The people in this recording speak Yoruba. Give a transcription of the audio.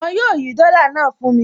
Wọn yóò yí dọ́là náà fún mi